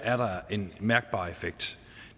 er der en mærkbar effekt